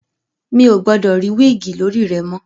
Mi ò gbọdọ̀ rí wíìgì lórí rẹ mọ̀!